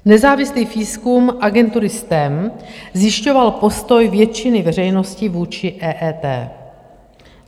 Nezávislý výzkum agentury STEM zjišťoval postoj většiny veřejnosti vůči EET.